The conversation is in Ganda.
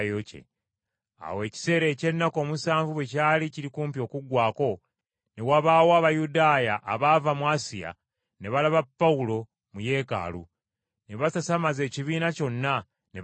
Awo ekiseera eky’ennaku omusanvu bwe kyali kiri kumpi okuggwaako, ne wabaawo Abayudaaya abaava mu Asiya ne balaba Pawulo mu Yeekaalu, ne basasamaza ekibiina kyonna, ne bakwata Pawulo